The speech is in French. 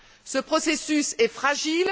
Ce processus est fragile.